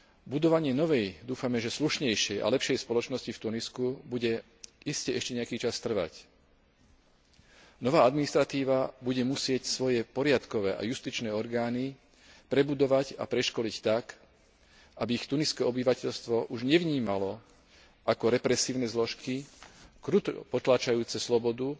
Budovanie novej, dúfame, že slušnejšej a lepšej spoločnosti v Tunisku bude iste ešte nejaký čas trvať. Nová administratíva bude musieť svoje poriadkové a justičné orgány prebudovať a preškoliť tak, aby ich tuniské obyvateľstvo už nevnímalo ako represívne zložky kruto potláčajúce slobodu,